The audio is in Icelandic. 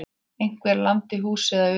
Einhver lamdi húsið að utan.